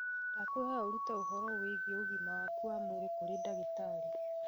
Ndakwĩhoya ũrute ũhoro wĩgiĩ ũgima waku wa mwĩrĩ kũrĩ ndagĩtarĩ